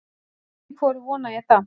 Hálft í hvoru vona ég það.